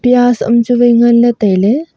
an chu wa ngan ley taiga ley.